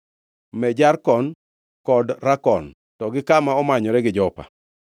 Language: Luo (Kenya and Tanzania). Me Jarkon kod Rakon, to gi kama omanyore gi Jopa.